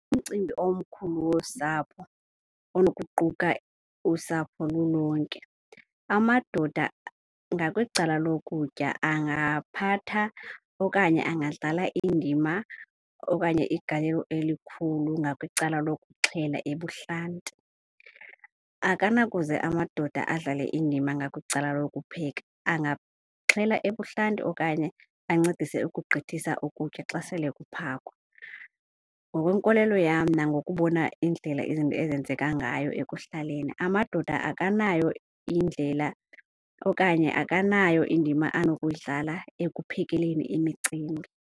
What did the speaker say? Umcimbi omkhulu wosapho onokuquka usapho lulonke, amadoda ngakwicala lokutya angaphatha okanye angadlala indima okanye igalelo elikhulu ngakwicala lokuxhela ebuhlanti. Akanakuze amadoda adlale indima ngakwicala lokupheka angaxhela ebuhlanti okanye ancedise ukugqithisa ukutya xa sele kuphakwa. Ngokwenkolelo yam nangoku ubona indlela izinto ezenzeka ngayo ekuhlaleni amadoda akanayo indlela okanye akanayo indima anokuyidlala ekuphekeleni imicimbi.